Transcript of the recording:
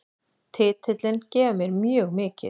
Titillinn gefur mér mjög mikið